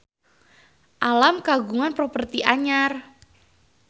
Alam kagungan properti anyar